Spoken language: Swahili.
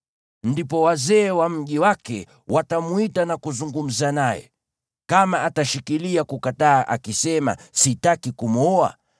Ndipo wazee wa mji wake watamwita na kuzungumza naye. Kama atashikilia kukataa akisema, “Sitaki kumwoa,”